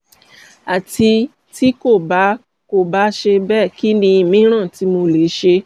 ati ti ko ba ko ba ṣe bẹ kini miiran ti mo le ṣe?